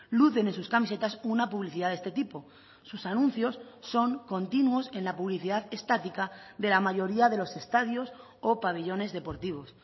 lucen en sus camisetas una publicidad de este tipo sus anuncios son continuos en la publicidad estática de la mayoría de los estadios o pabellones deportivos